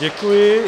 Děkuji.